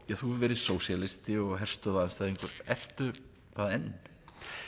þú hefur verið sósíalisti og herstöðvaandstæðingur ertu það enn